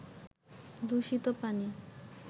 দূষিত পানি